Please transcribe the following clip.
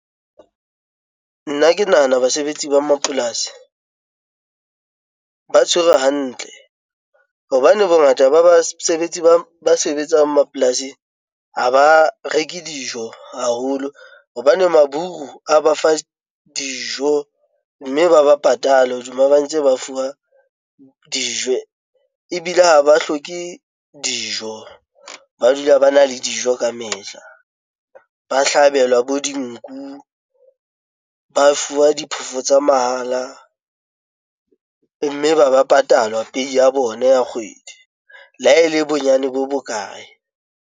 Nna ke nahana basebetsi ba mapolasi ng ba tshwerwe hantle hobane bongata ba basebetsi ba sebetsang mapolasing a ba reke dijo haholo hobane maburu a ba fa dijo ng mme ba ba patale hodima ba ntse ba fuwa dijo ebile ha ba hloke dijo, ba dula ba na le dijo kamehla, ba hlokang thabelwa bo dinku, ba fuwa diphoofolo tsa mahala mme ba ba patalwa pehi ya bona ya kgwedi. Le ha e le bonyane bo bokae.